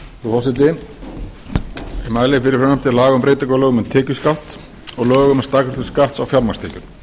frú forseti ég mæli fyrir frumvarpi til laga um breytingu á lögum um tekjuskatt og lögum um staðgreiðslu skatta á fjármagnstekjur